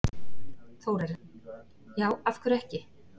Þórarinn: Já, af hverju ekki?